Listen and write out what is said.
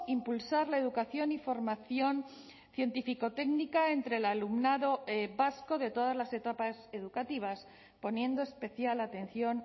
impulsar la educación y formación científico técnica entre el alumnado vasco de todas las etapas educativas poniendo especial atención